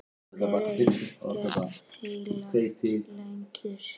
Er ekkert heilagt lengur?